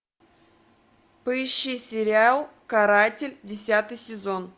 поищи сериал каратель десятый сезон